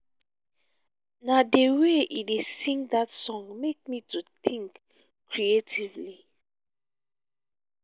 na the way he dey sing dat song make me to dey think creatively